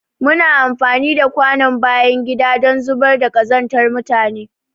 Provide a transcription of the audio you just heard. Muna amfani da kwanon bayan gida don zubar da kazantar mutane.